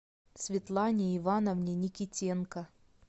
светлане ивановне никитенко